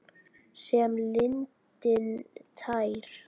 Sem lindin tær.